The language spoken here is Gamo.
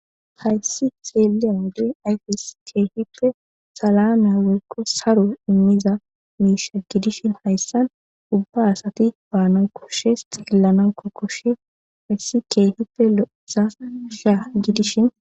Hayssi xeeliya wode ayfes keehippe salame woykko saro immiza miisha gidishin hayssan ubba asati baana koshes xiellanako koshes hayssi keehippe lo7eza sha gidishin.